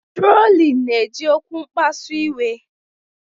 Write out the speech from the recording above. Trolin na-eji okwu mkpasu iwe.